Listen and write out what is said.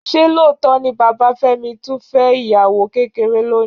Ṣé lóòótọ́ ni bàbá Fẹ́mi tún fẹ́ ìyàwó kékeré lónìí?